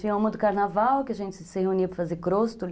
Tinha uma do carnaval, que a gente se reunia para fazer cróstoli.